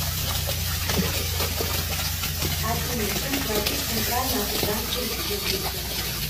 афина чем платить в центральноафриканской республике